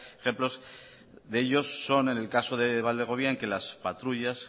ejemplos de ellos son en el caso de valdegovía en que las patrullas